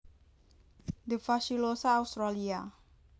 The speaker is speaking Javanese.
D fasciculosa Australia